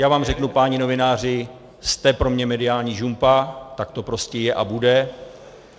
Já vám řeknu, páni novináři, jste pro mě mediální žumpa, tak to prostě je a bude.